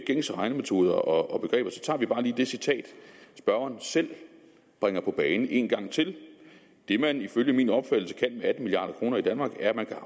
gængse regnemetoder og begreber så tager vi bare lige det citat spørgeren selv bringer på bane en gang til det man ifølge min opfattelse kan med atten milliarder i danmark er at man kan